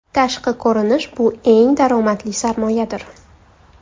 Tashqi ko‘rinish bu eng daromadli sarmoyadir!